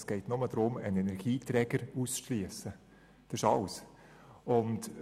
Es geht nur darum, einen Energieträger auszuschliessen, das ist alles.